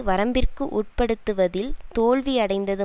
வரம்பிற்கு உட்படுத்துவதில் தோல்வி அடைந்தது